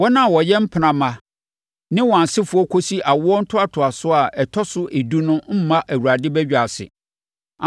Wɔn a wɔyɛ mpena mma ne wɔn asefoɔ kɔsi awoɔ ntoatoasoɔ a ɛtɔ so edu no mmma Awurade badwa ase.